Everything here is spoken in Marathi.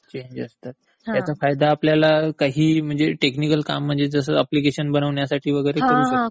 चेंज असतात...म्हणजे याचा फायदा आपल्याला काहीही जर टेक्निकल काम म्हणजे जसं अप्लिकेशन बनवण्यासाठी वगैरे करू शकतो.